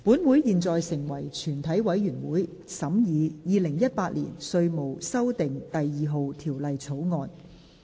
本會現在成為全體委員會，審議《2018年稅務條例草案》。